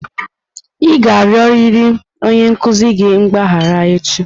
Ị ga-arịọrịrị onye nkuzi gị mgbaghara echi!